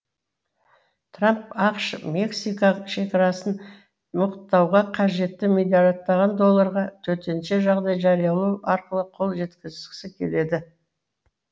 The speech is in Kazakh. трамп ақш мексика шекарасын мықтауға қажетті миллиардтаған долларға төтенше жағдай жариялау арқылы қол жеткізгісі келеді